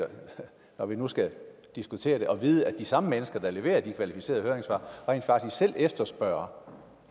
når vi nu skal diskutere det at vide at de samme mennesker der leverer de kvalificerede høringssvar rent faktisk selv efterspørger